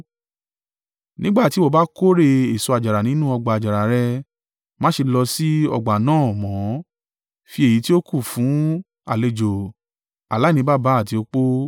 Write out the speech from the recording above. Nígbà tí ìwọ bá kórè èso àjàrà nínú ọgbà àjàrà rẹ, má ṣe lọ sí ọgbà náà mọ́. Fi èyí tí ó kù fún àlejò, aláìní baba àti opó.